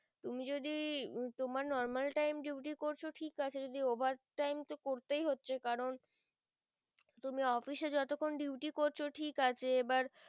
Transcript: তুমি যদি তোমার normal time duty করছো ঠিক আছে যদি over time তো করতেই হচ্ছে কারণ তুমি office এ যত খন duty করছো ঠিক আছে এবার